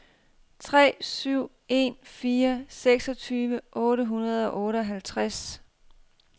tre syv en fire seksogtyve otte hundrede og otteoghalvtreds